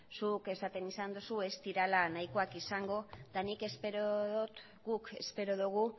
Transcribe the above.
zuk esan duzu ez direla nahikoa izango eta nik espero dut guk espero dugu